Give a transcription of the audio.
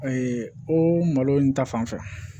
o malo in ta fanfɛ